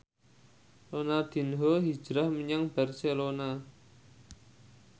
Ronaldinho hijrah menyang Barcelona